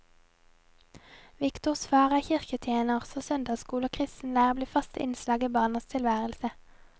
Viktors far er kirketjener, så søndagsskole og kristen leir blir faste innslag i barnas tilværelse.